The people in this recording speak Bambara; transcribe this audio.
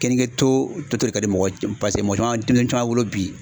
Keninke to to to de ka di mɔgɔ ye c pase mɔgɔ caman deŋen caman wolo bi